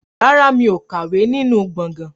Rárá, mi ò kàwé nínú gbọ̀ngàn